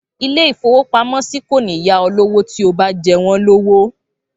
Ilé-ìfowópamọ́sí kò ní yá ọ lówó tí o bá jẹ wọ́n lówó.